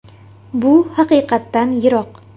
Bu haqiqatdan yiroq.